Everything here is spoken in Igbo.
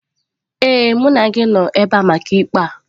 Ee, mụ na gị nọ ebe a maka ikpe a.